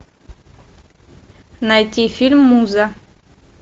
найти фильм муза